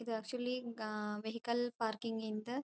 ಇದು actually vehicle parking ಗಿಂತ --